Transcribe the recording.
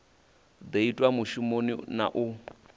do itwa mushumoni na u